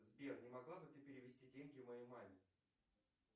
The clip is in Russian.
сбер не могла бы ты перевести деньги моей маме